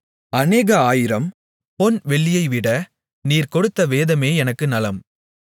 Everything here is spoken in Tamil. அநேக ஆயிரம் பொன் வெள்ளியைவிட நீர் கொடுத்த வேதமே எனக்கு நலம்